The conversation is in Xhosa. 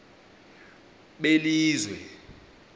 belizwe